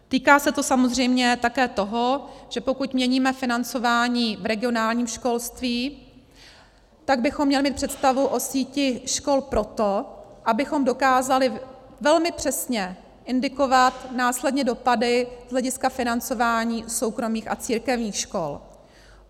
Týká se to samozřejmě také toho, že pokud měníme financování v regionálním školství, tak bychom měli mít představu o síti škol proto, abychom dokázali velmi přesně indikovat následně dopady z hlediska financování soukromých a církevních škol.